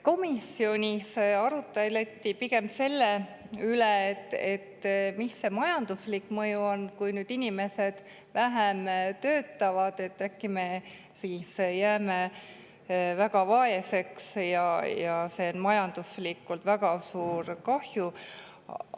Komisjonis arutleti pigem selle üle, mis see majanduslik mõju on, kui inimesed vähem töötavad – äkki me jääme väga vaeseks ja see on majanduslikult väga suur kahju.